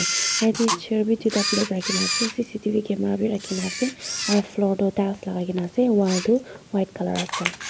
yatae chair bi tui ta black rakhina ase c c t v camera bi rakhina ase aro floor toh tiles lakai kaena ase aro walls white colour ase.